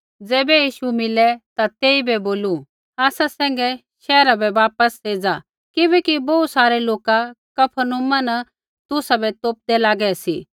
ज़ैबै यीशु मीलै ता तेइबै बोलू आसा सैंघै शैहरा बै वापस एज़ा किबैकि बोहू सारै लोका कफरनहूमा न तुसाबै तोपदै लागै सी